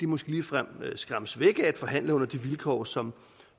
måske ligefrem skræmmes væk forhandle under de vilkår som